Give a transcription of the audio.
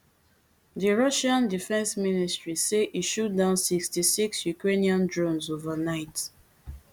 di russian defence ministry say e shoot down sixty-six ukrainian drones overnight